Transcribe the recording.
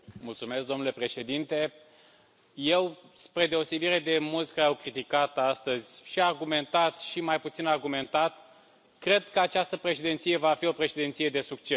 Domnule președinte, eu spre deosebire de mulți care au criticat astăzi, și argumentat, și mai puțin argumentat cred că această președinție va fi o președinție de succes.